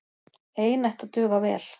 Ein ætti að duga vel.